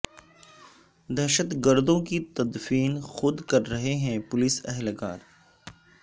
دہشت گردوں کی تدفین خود کررہے ہیں پولیس اہلکار